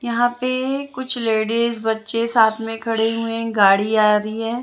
यहाँ पे कुछ लेडिज बच्चे साथ में खड़े हुए है गाड़ी आ रही है।